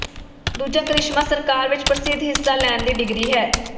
ਦੂਜਾ ਕਰਿਸ਼ਮਾ ਸਰਕਾਰ ਵਿਚ ਪ੍ਰਸਿੱਧ ਹਿੱਸਾ ਲੈਣ ਦੀ ਡਿਗਰੀ ਹੈ